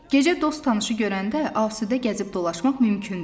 Gecə dost tanışı görəndə asudə gəzib dolaşmaq mümkündür.